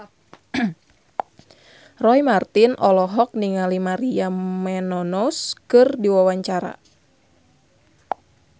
Roy Marten olohok ningali Maria Menounos keur diwawancara